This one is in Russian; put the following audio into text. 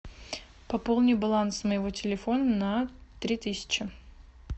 пополни баланс моего телефона на три тысячи